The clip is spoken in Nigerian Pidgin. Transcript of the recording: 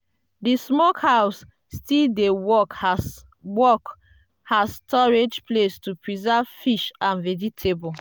the smokehouse still dey work as work as storage place to preserve fish and vegetable.